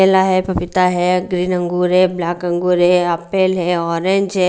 केला है पपीता है ग्रीन अंगूर है ब्लैक अंगूर है एप्पल है ऑरेंज है।